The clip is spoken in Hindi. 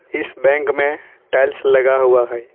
इस बैंक में टाइल्स लगा हुआ है।